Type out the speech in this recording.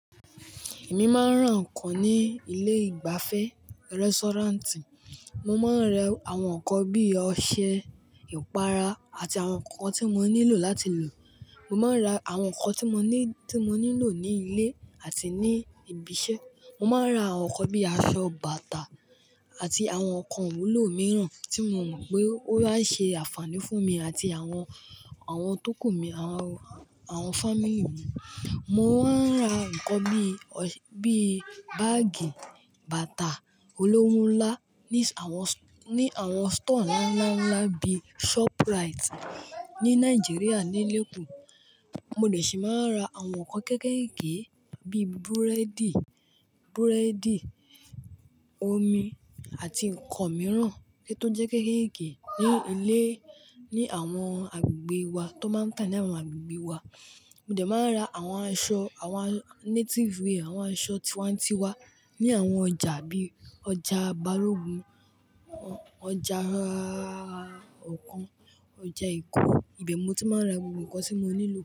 Èmi máa ń rà nǹkan ní ilé ìgbafẹ́, restaurant. Mo máa ń rà àwọn nǹkan bí ọṣẹ, ìpara àti àwọn nǹkan tí mo nílò láti lò. Mo máa ń rà àwọn nǹkan tí mo ní, tí mo nílò ní ilé àti ní ibi iṣẹ́. Mo máa ń rà àwọn nǹkan bí aṣọ, bàtà àti àwọn nǹkan wúlò mìíràn tí mo mọ̀ pé ó máa ṣe ànfàní fún mi àti àwọn, àwọn tọkù mi àwọn, àwọn family mi. Mo máa ń rà nǹkan bí, bí báàgì, bàtà olówó ńlá ní àwọn, ní àwọn store ńlá, ńlá, ńlá bí Shoprite ní Nàìjíríà ní Lagos. Mo dẹ̀ ṣì máa ń rà àwọn nǹkan kéékèèké bí búrẹ́dì, búrẹ́dì, omi àti nǹkan mìíràn kíi tó jẹ́ kéékèèké ní ilé, ní àwọn agbègbè wa tó máa n tá ní àwọn agbègbè wa. Mo dẹ̀ máa ń rà àwọn aṣọ, àwọn native wear, àwọn aṣọ tiwantiwa ní àwọn ọjà bí ọjà Balogun, ọjà àà ọjà Èkó. Ibe mo tí máa ń ra gbogbo nǹkan tí mo nílò.